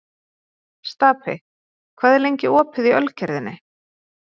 Stapi, hvað er lengi opið í Ölgerðinni?